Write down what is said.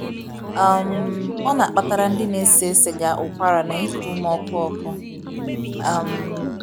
um Ọ na -akpatara ndi na ese siga ụkwara na iku ume ọkụ ọku um.